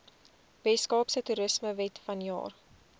weskaapse toerismewet vanjaar